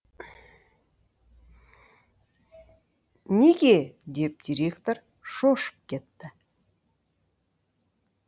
неге деп директор шошып кетті